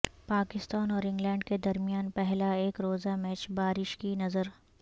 پاکستان اور انگلینڈ کے درمیان پہلا ایک روزہ میچ بارش کی نذر